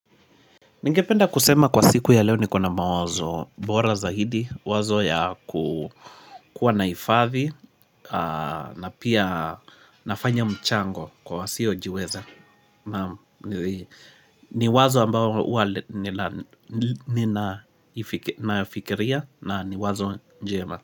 Ningependa kusema kwa siku ya leo ni kuna mawazo, bora za hidi, wazo ya kuwa nahifathi na pia nafanya mchango kwa wasio jiweza. Ni wazo ambao huwa ninaifikiria na ni wazo njema.